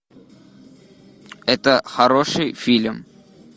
это хороший фильм